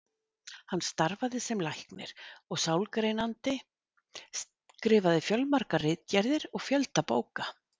Hann starfaði sem læknir og sálgreinandi, skrifaði fjölmargar ritgerðir og fjölda bóka.